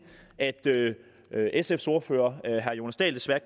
at sfs ordfører herre jonas dahl desværre